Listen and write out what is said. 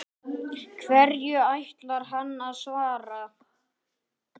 Hverju ætlar hann að svara?